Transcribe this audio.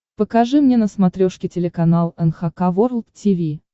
покажи мне на смотрешке телеканал эн эйч кей волд ти ви